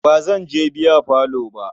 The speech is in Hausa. Ba zan je biyafalo ba.